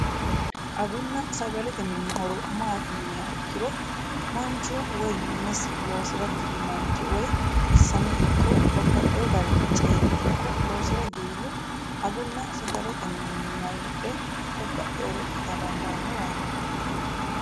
agunna sagalete mini horo maati yiniha ikkiro manchu woyi minesi loosira giwi manchi woyi xissame ikkko babbaxino garinni cee'me ikko loosira giwihu agunna sagalete mininni mare hidhe babbaxinore ita dandaanno yaate.